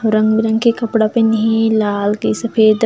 रंग-बिरंग के कपड़ा पहिने हे लाल के सफेद--